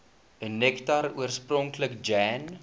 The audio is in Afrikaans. nektar oorspronklik jan